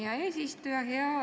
Hea eesistuja!